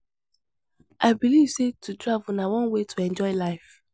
I believe sey to travel na one way to enjoy life.